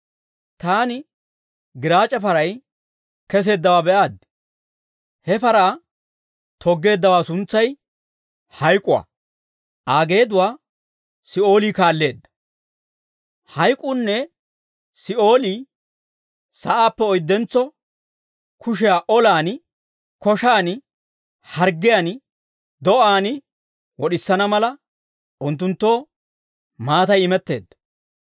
Taani giraac'e paray keseeddawaa be'aaddi. He paraa toggeeddaawaa suntsay Hayk'uwaa; Aa geeduwaa Si'oolii kaalleedda. Hayk'uunne Si'oolii sa'aappe oyddentso kushiyaa olaan, koshaan, harggiyaan, do'aan wod'isana mala, unttunttoo maatay imetteedda.